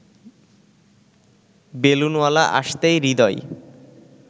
বেলুনওয়ালা আসতেই হৃদয়